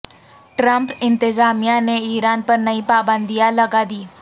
Trump انتظامیہ نے Iran پر نئی پابندیاں لگا دیں